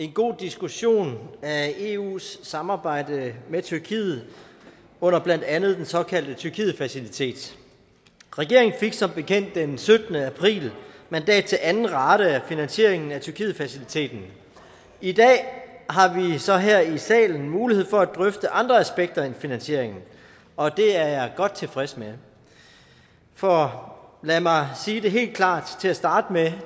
en god diskussion af eus samarbejde med tyrkiet under blandt andet den såkaldte tyrkietfacilitet regeringen fik som bekendt den syttende april mandat til anden rate af finansieringen af tyrkietfaciliteten i dag har vi så her i salen mulighed for at drøfte andre aspekter end finansieringen og det er jeg godt tilfreds med for lad mig sige det helt klart til at starte med